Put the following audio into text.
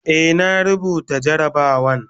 Eh, na rubuta jarabawan